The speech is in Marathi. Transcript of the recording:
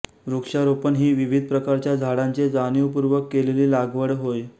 वृक्षारोपण ही विविध प्रकारच्या झाडांची जाणीवपूर्वक केलेली लागवड होय